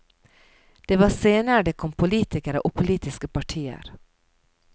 Det var senere det kom politikere og politiske partier.